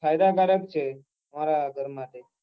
ફાયદા કારક છે મારા ઘર માટે